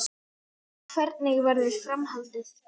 Hvernig verður framhaldið?